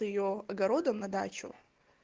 то её огородом на дачу